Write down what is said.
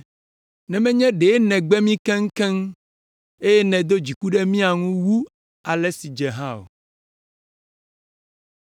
Ne menye ɖe nègbe mí keŋkeŋ, eye nèdo dziku ɖe mía ŋu wu ale si dze hã o.